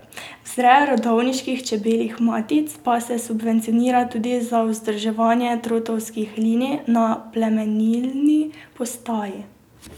Vzreja rodovniških čebeljih matic pa se subvencionira tudi za vzdrževanje trotovskih linij na plemenilni postaji.